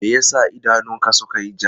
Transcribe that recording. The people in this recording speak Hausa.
Me ya sa idanunka suka yi ja?